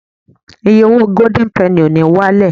iye owó golden penny o ni walẹ